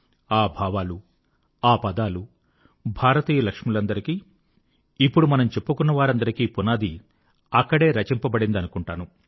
ఆ భావాలు ఆ పదాలు భారతీయ లక్ష్ములందరికీ ఇప్పుడు మనం చెప్పుకున్నవారందరికీ పునాది అక్కడే రచింపబడిందనుకుంటాను